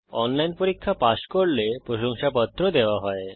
online পরীক্ষা pass করলে প্রশংসাপত্র দেওয়া হয়